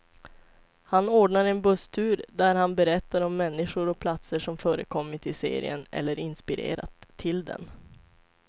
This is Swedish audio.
Han ordnar en busstur där han berättar om människor och platser som förekommit i serien, eller inspirerat till den.